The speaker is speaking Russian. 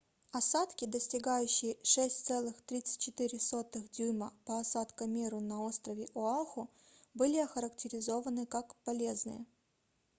осадки достигающие 6,34 дюйма по осадкомеру на острове оаху были охарактеризованы как полезные